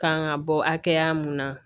Kan ka bɔ hakɛya mun na